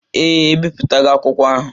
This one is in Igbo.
Ee, ebipụtago akwụkwọ ahụ.